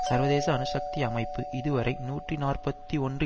சர்வதேச அணு சக்தி அமைப்பு இதுவரை நூற்றி நாற்பத்தி ஒன்று